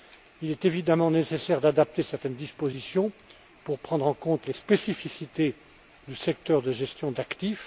IV. Il est évidemment nécessaire d'adapter certaines dispositions pour prendre en compte les spécificités du secteur de gestion d'actifs.